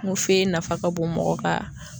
N ko nafa ka bon mɔgɔ ka